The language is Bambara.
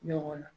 Ɲɔgɔn na